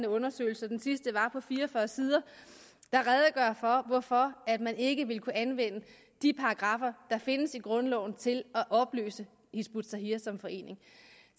undersøgelser den sidste var på fire og fyrre sider der redegør for hvorfor man ikke vil kunne anvende de paragraffer der findes i grundloven til at opløse hizb ut tahrir som forening